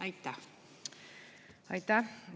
Aitäh!